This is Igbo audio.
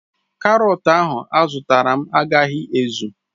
Karotu ahu izutaram agaghi ezu